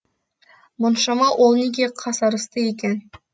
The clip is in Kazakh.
мұншама ол неге қасарысты екен